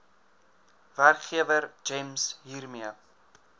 werkgewer gems hiermee